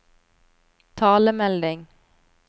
talemelding